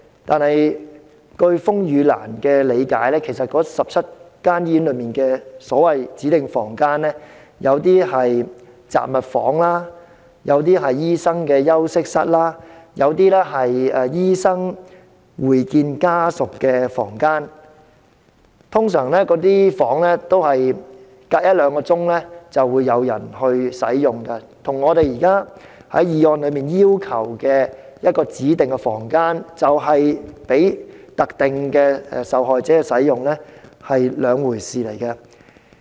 可是，據風雨蘭理解，該17間醫院內的所謂"指定房間"其實有些是雜物房，有些是醫生休息室，有些則是醫生會見家屬的房間，一般相隔一兩小時便會有人使用，與議案所要求的提供一間供特定受害者使用的指定房間是兩回事。